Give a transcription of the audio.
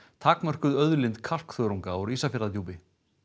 takmörkuð auðlind kalkþörungs úr Ísafjarðardjúpi